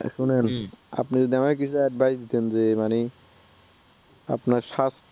শুনুন আপানি যদি আমাকে কিছু advice দেন যে মানে আপনার স্বাস্থ্য